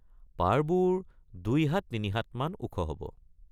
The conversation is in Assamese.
পাৰবোৰ ২॥ হাত ৩ হাতমান ওখ হব।